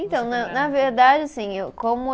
Então, na na verdade, assim eu, como eu.